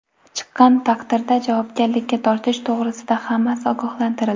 Chiqqan taqdirda javobgarlikka tortish to‘g‘risida hammasi ogohlantirildi.